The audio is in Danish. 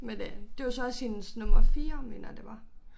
Men øh det var så også hendes nummer 4 mener jeg det var